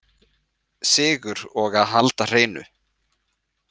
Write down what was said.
Sigur og að halda hreinu